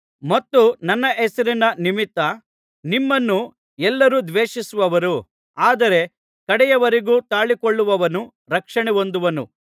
ಮತ್ತು ನನ್ನ ಹೆಸರಿನ ನಿಮಿತ್ತ ನಿಮ್ಮನ್ನು ಎಲ್ಲರೂ ದ್ವೇಷಿಸುವರು ಆದರೆ ಕಡೆಯವರೆಗೂ ತಾಳಿಕೊಳ್ಳುವವನು ರಕ್ಷಣೆಹೊಂದುವನು